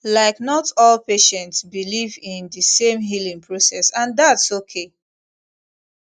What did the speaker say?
like not all patients believe in the same healing process and thats okay